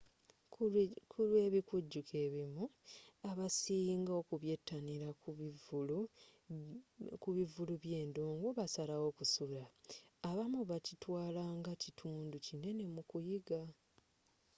kulw'ebikujjuko ebimu abasinga okubyetanila ku bivulu bye ndongo basalawo kusulawo abamu bakitwala nga kitundu kinene mu kuyiga